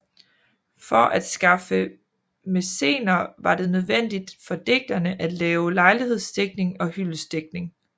For at skaffe mæcener var det nødvendigt for digterne at lave lejlighedsdigtning og hyldestdigtning